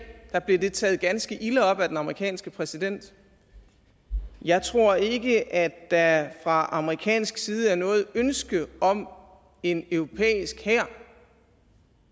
blev det taget ganske ilde op af den amerikanske præsident jeg tror ikke at der fra amerikansk side er noget ønske om en europæisk hær